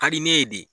Ka di ne ye de